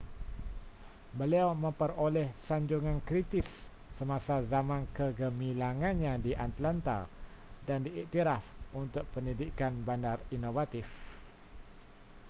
beliau memperoleh sanjungan kritis semasa zaman kegemilangannya di atlanta dan diiktiraf untuk pendidikan bandar inovatif